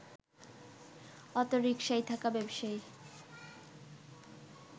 অটোরিকশায় থাকা ব্যবসায়ী